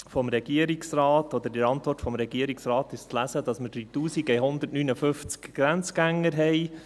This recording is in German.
In der Antwort des Regierungsrates ist zu lesen, dass wir 3159 Grenzgänger haben.